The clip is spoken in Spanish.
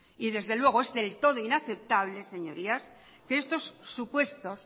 y desde luego es del todo inaceptable señorías que estos supuestos